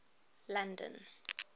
london